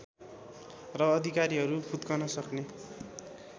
र अधिकारीहरू फुत्कन सक्ने